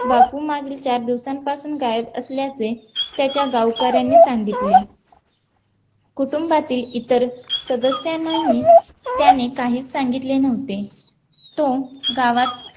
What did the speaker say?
बापू मागील चार दिवसांपासून गायब असल्याचे त्याच्या गावकऱ्यांनी सांगितले कुटुंबातील इतर सदस्यांनाही त्याने काही सांगितले नव्हते तो गावात